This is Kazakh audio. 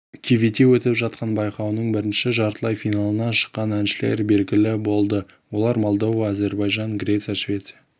кивете өтіп жатқан байқауының бірінші жартылай финалына шыққан әншілер белгілі болды олар молдова әзербайжан греция швеция